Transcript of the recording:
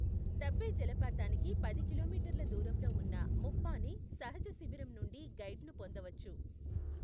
దబ్బే జలపాతానికి పది కిలోమీటర్ల దూరంలో ఉన్న ముప్పానే సహజ శిబిరం నుండి గైడ్ను పొందవచ్చు.